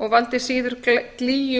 og valdi síður glýju